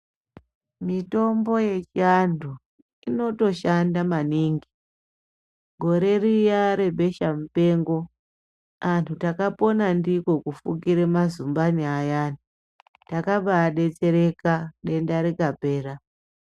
Mitombo yechivantu inotoshanda maningi gore riya rebesha mupengo antu takapona ndiko kufukire mazumbani ayani takambaa betsereka denda rikapera.